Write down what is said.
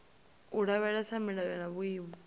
u lavhelesa milayo na vhuimo